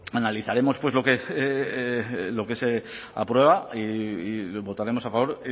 analizaremos lo que se aprueba y votaremos a favor